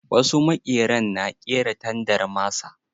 Wasu maƙeren na ƙera tandar masa.